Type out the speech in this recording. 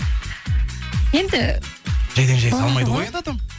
енді жайдан жай салмайды ғой енді адам